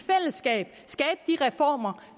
i reformer